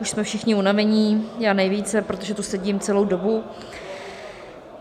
Už jsme všichni unavení, já nejvíce, protože tu sedím celou dobu.